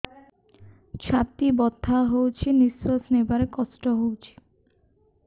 ଛାତି ବଥା ହଉଚି ନିଶ୍ୱାସ ନେବାରେ କଷ୍ଟ ହଉଚି